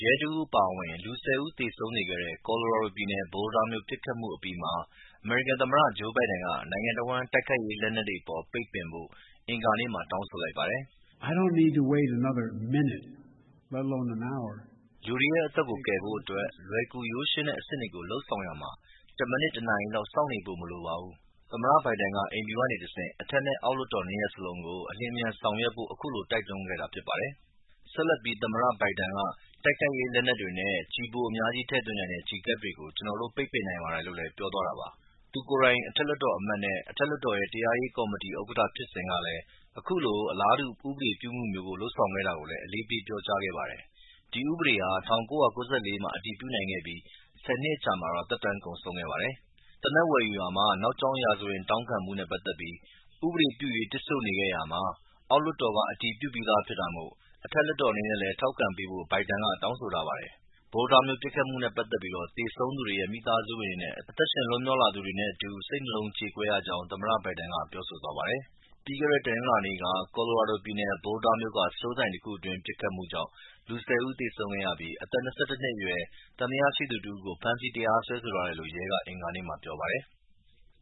ရဲတဦးအပါအဝင် လူ ၁၀ ဦးသေဆုံးစေခဲ့တဲ့ ကော်လိုရာဒိုပြည်နယ် Boulder မြို့ပစ်ခတ်မှုအပြီးမှာပဲ အမေရိကန်သမ္မတ ဂျိူးဘိုင်ဒန်က နိုင်ငံတဝှမ်း တိုက်ခိုက်ရေး လက်နက်တွေအပေါ် ပိတ်ပင်ဖို့ အင်္ဂါနေ့မှာ တောင်းဆို လိုက်ပါတယ်။ “လူတွေရဲ့ အသက်ကို ကယ်ဖို့အတွက် လွယ်ကူရိုးရှင်းတဲ့အဆင့်တွေကို လုပ်ဆောင်ရာမှာ တမိနစ်၊ တနာရီလောက် စောင့်နေဖို့မလိုပါဘူး” လို့သမ္မတ ဘိုင်ဒန်က အိမ်ဖြူကနေ အထက်နဲ့အောက်လွှတ်တော် နှစ်ရပ်စလုံးကို အလျင်အမြန်ဆောင်ရွက်ဖို့အခုလို တိုက်တွန်းပြောဆိုခဲ့တာဖြစ်ပါတယ်။ တိုက်ခိုက်ရေး လက်နက်တွေနဲ့ကျည်ပိုအများကြီးထည့်သွင်းနိုင်တဲ့ ကျည်ကပ်တွေကို ကျနော်တို့ပိတ်ပင်နိုင်ပါတယ်လို့လည်း သမ္မတက ပြောသွားတာပါ။ သူကိုယ်တိုင် အထက်လွှတ်တော်အမတ်နဲ့အထက်လွှတ်တော်ရဲ့ တရားရေးကော်မတီဥက္ကဌဖြစ်စဉ်ကလည်း အခုလို အလားတူဥပဒေပြုမှုမျိူးလုပ်ဆောင်ခဲ့တာကိုလည်း အလေးပေးပြောကြားခဲ့ပါတယ်။ အဲဒီ ဥပဒေဟာ ၁၉၉၄ မှာ အတည်ပြုနိုင်ခဲ့ပြီး ၁၀ နှစ်အကြာမှာ သက်တမ်းကုန်ဆုံးခဲ့ပါတယ်။ သေနတ်ဝယ်ယူရာမှာ နောက်ကြောင်းရာဇဝင်တောင်းခံမှုနဲ့ပက်သက်ပြီး ဥပဒေပြုရေး တစ်ဆို့နေခဲ့ရာမှာ အောက်လွှတ်တော်က အတည်ပြုပြီးသားဖြစ်တာမို့အထက်လွှတ်တော်အနေနဲ့လည်းထောက်ခံပေးဖို့ဘိုင်ဒန်က တောင်းဆိုထားပါတယ်။ Boulder မြို့ပစ်ခတ်မှုနဲ့ပက်သက်ပြီး သေဆုံးသူတွေရဲ့ မိသားစုဝင်တွေနဲ့အသက်ရှင်လွှတ်မြောက်လာသူတွေနဲ့အတူ စိတ်နှလုံးကြေကွဲရကြောင်း သမ္မတ ဘိုင်ဒန်က ပြောဆိုသွားပါတယ်။ ပြီးခဲ့တဲ့ တနင်္လာနေ့က Boulder မြို့က စတိုးဆိုင်တခုတွင်း ပစ်ခတ်မှုကြောင့် လူ ၁၀ ဦးသေဆုံးခဲ့ရပြီး အသက် ၂၁ နှစ်အရွယ် သံသယရှိသူတဦးကို ဖမ်းဆီးတရားစွဲဆိုထားတယ်လို့ရဲက အင်္ဂါနေ့က ပြောပါတယ်။